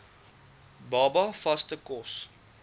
baba vaste kos